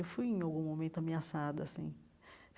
Eu fui, em algum momento, ameaçada assim.